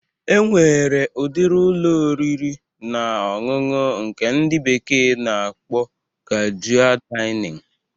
E nwere udiri Ụlọ oriri na ọṅụṅụ nke ndị bekee na-akpọ kajua Dainịn